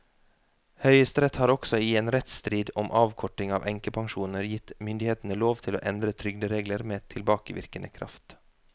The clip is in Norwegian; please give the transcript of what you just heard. Høyesterett har også i en rettsstrid om avkorting av enkepensjoner gitt myndighetene lov til å endre trygderegler med tilbakevirkende kraft.